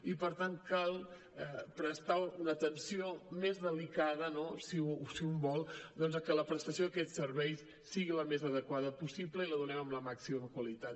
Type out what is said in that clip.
i per tant cal prestar una atenció més delicada no si un vol que la prestació d’aquests serveis sigui la més adequada possible i la donem amb la màxima qualitat